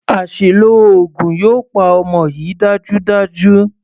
Àṣìlò oògùn yóò pa ọmọ yìí dájúdájú.